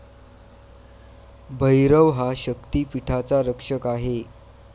भैरव हा शक्तिपीठाचा रक्षक आहे.